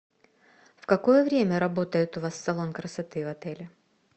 в какое время работает у вас салон красоты в отеле